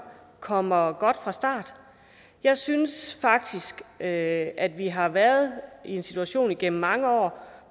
kommer godt fra start jeg synes faktisk at at vi har været i en situation gennem mange år